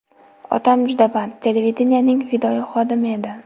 Otam juda band, televideniyening fidoyi xodimi edi.